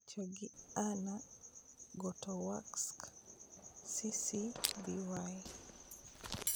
Picha gi Anna Gotowska, CC-BY.